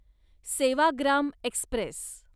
Sevagram Express